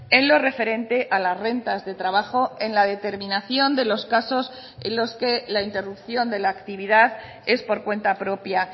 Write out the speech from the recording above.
en lo referente a las rentas de trabajo en la determinación de los casos en los que la interrupción de la actividad es por cuenta propia